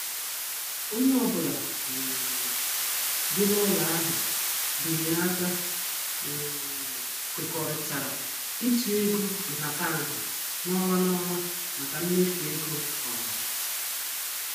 Onye ọ bụla um bi n' ụlọ ahụ binyere aka um kwekọrịtara ịtụ ego nhataha n' ọnwa n' ọnwa maka mmefu ego ọha.